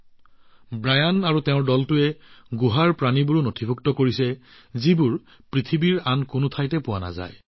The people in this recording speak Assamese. ব্ৰায়ান ডি আৰু তেওঁৰ দলটোৱে গুহা প্ৰাণী অৰ্থাৎ গুহাটোৰ সেই জীৱবোৰৰ নথিভুক্ত কৰিছে যিবোৰ পৃথিৱীৰ আন কতো পোৱা নাযায়